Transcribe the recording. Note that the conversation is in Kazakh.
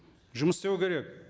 жұмыс істеу керек